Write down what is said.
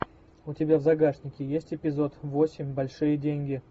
у тебя в загашнике есть эпизод восемь большие деньги